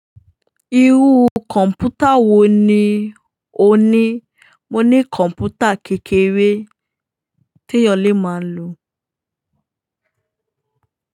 Irú kọ̀ǹpútà wo ni o ní? Mo ní kọ̀ǹpútà kékeré tí ènìyàn lè máa lò.